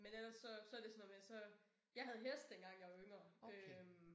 Men ellers så så det sådan noget med så. Jeg havde hest dengang jeg var yngre øh